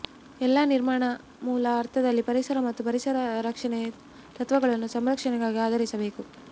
ಎಲ್ಲಾ ನಿರ್ಮಾಣ ಮೂಲ ಅರ್ಥದಲ್ಲಿ ಪರಿಸರ ಮತ್ತು ಪರಿಸರ ರಕ್ಷಣೆ ತತ್ವಗಳನ್ನು ಸಂರಕ್ಷಣೆಗಾಗಿ ಆಧರಿಸಿರಬೇಕು